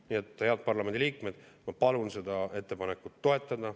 Nii et, head parlamendiliikmed, ma palun seda ettepanekut toetada!